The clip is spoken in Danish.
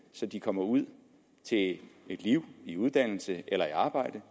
så de kommer ud til et liv i uddannelse eller arbejde